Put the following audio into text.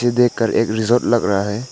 देखकर एक रिसॉर्ट लग रहा है।